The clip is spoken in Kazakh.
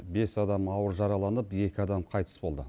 бес адам ауыр жараланып екі адам қайтыс болды